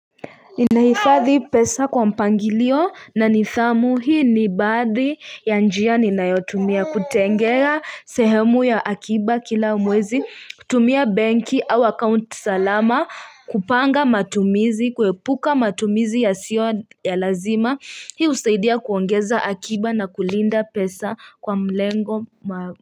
Ninahifadhi pesa kwa mpangilio na nidhamu hii ni baadhi ya njia ninayotumia kutengea sehemu ya akiba kila mwezi kutumia banki au account salama kupanga matumizi kuepuka matumizi yasio ya lazima hii husaidia kuongeza akiba na kulinda pesa kwa mlengo ma.